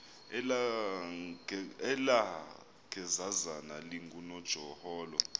elaa gezazana lingunojaholo